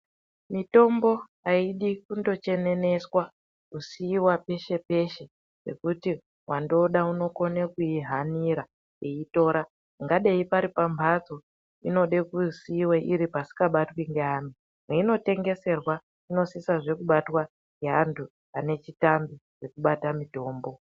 Mitombo aidi kundocheneneswa kusiiwa peshe-peshe pekuti wandoda unokone kuihanira eitora kungadai pari pamhatso inode kusiiwe iri paisingabatwi ngeanhu, peinotengeserwa inosisezve kubatwa ngeanhu anechitambi chekubate mutombo.